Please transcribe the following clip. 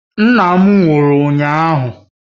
Nna m nwụrụ ụnyahụ